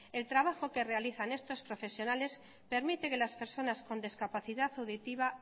el trabajo que realizan estos profesionales permite que las personas con discapacidad auditiva